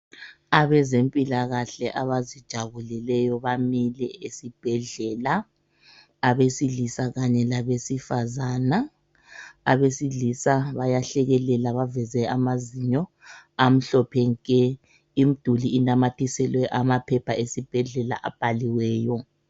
abezempilakahle abazijabulileyo bamile esibhedlela abesilisa kanye labesifazana abesilisa bayahlekelela baveze amazinyo amhlophe nke imiduli inamathiselwe amaphepha esibhedlela abhaliweyo